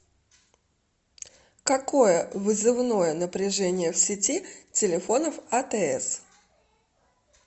какое вызывное напряжение в сети телефонов атс